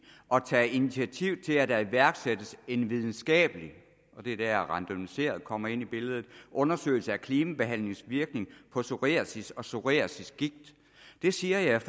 at tage initiativ til at der iværksættes en videnskabelig og det er der randomisering kommer ind i billedet undersøgelse af klimabehandlingens virkning på psoriasis og psoriasisgigt det siger jeg